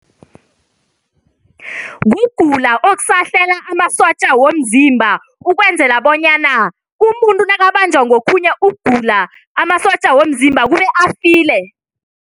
Kugula okusahlela amasotja womzimba ukwenzela bonyana umuntu nakabanjwa ngokhunye ugula amasotja womzimba kube afile.